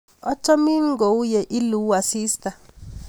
Achomin kou ye iluu asista.